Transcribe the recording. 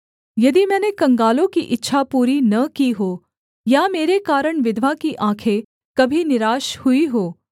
यदि मैंने कंगालों की इच्छा पूरी न की हो या मेरे कारण विधवा की आँखें कभी निराश हुई हों